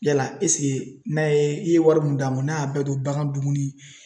Yala ɛsike n'a ye i ye wari mun d'a ma n'a y'a bɛɛ don bagan dumuni